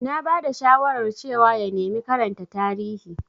Na ba da shawarar cewa ya nemi karanta Tarihi.